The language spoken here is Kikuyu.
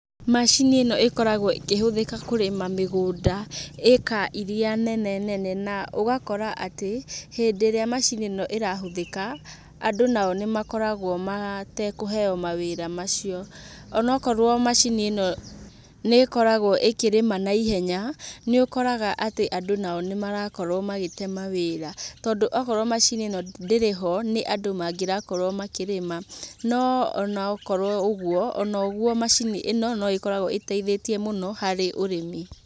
Macini ĩno ĩkoragwo ĩkĩhũthĩka kũrĩma mĩgũnda ĩka iria nene nene na ũgakora atĩ hĩndĩ ĩrĩa macini ĩno ĩrahũthĩka andũ nao nĩmakoragwo matekũheywo mawĩra macio. Onokorwo macini ĩno nĩ ĩkoragwo ĩkĩrĩma na ihenya nĩũkoraga atĩ andũ nao nĩmarakorwo magĩte mawĩra, tondũ okorwo macini ĩno ndĩrĩ ho nĩ andũ mangĩrakorwo makĩrĩma. No onokorwo ũgwo, ono ũgwo macini ĩno noĩkoragwo ĩteithĩtie mũno harĩ ũrĩmi.